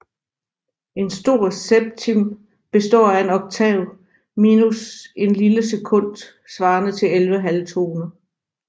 En stor septim består af en oktav minus en lille sekund svarende til 11 halvtoner